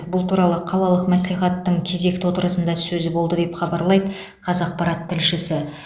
бұл туралы қалалық мәслихаттың кезекті отырысында сөз болды деп хабарлайды қазақпарат тілшісі